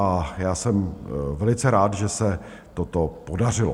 A já jsem velice rád, že se toto podařilo.